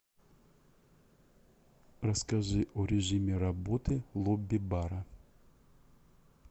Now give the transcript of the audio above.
расскажи о режиме работы лобби бара